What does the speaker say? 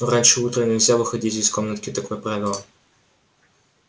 но раньше утра нельзя выходить из комнатки такое правило